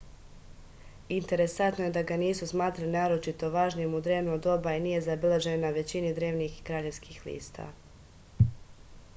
interesantno je da ga nisu smatrali naročito važnim u drevno doba i nije zabeležen na većini drevnih kraljevskih lista